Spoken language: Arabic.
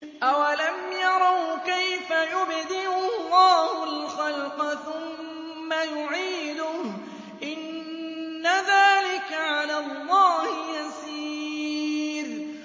أَوَلَمْ يَرَوْا كَيْفَ يُبْدِئُ اللَّهُ الْخَلْقَ ثُمَّ يُعِيدُهُ ۚ إِنَّ ذَٰلِكَ عَلَى اللَّهِ يَسِيرٌ